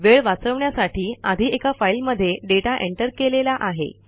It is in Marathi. वेळ वाचवण्यासाठी आधी एका फाईलमध्ये डेटा एंटर केलेला आहे